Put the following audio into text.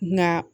Na